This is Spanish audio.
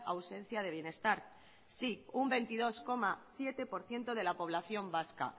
ausencia de bienestar sí un veintidós coma siete por ciento de lo población vasca